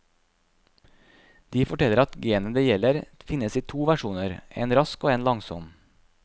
De forteller at genet det gjelder finnes i to versjoner, en rask og en langsom.